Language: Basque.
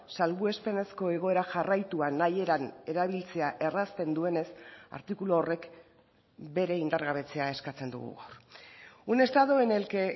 salbuespenezko egoera jarraitua nahi eran erabiltzea errazten duenez artikulu horrek bere indargabetzea eskatzen dugu un estado en el que